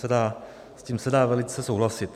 S tím se dá velice souhlasit.